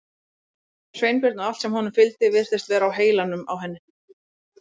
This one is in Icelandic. Sveinbjörn og allt sem honum fylgdi virtist vera á heilanum á henni.